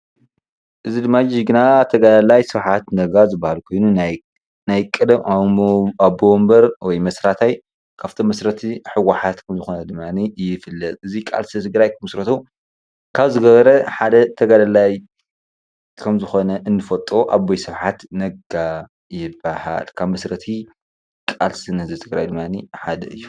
እዚ ድማ ጅግና ተጋዳላይ ስብሓት ነጋ ዝባሃል ኮይኑ ናይ ቀደም ኣቦወንበር ወይ መስራታይ ካብእቶም መስረቲ ህወሓት ከም ዝኮነ ድማ ይፍለጥ፡፡ እዚ ድማ ህዝቢ ትግራይ ክምስርቶ ካብ ዝገበረ ተጋዳላይ ከም ዝኮነ እንፈልጦ ኣቦይ ስብሓት ነጋ ይባሃል፡፡ ካብ መስረቲ ቃልሲ ንህዝቢ ትግራይ ደማ ሓደ እዩ፡፡